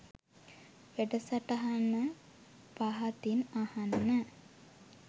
වැඩසටහන පහතින් අහන්න